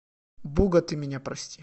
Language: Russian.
буга ты меня прости